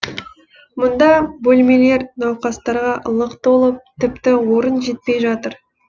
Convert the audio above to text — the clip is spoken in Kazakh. мұнда бөлмелер науқастарға лық толып тіпті орын жетпей жатыр